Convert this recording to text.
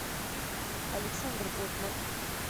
александр готман